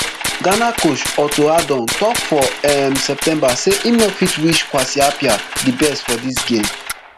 ghana coach otto addon tok for um september say im no fit wish kwasi appiah di best for dis game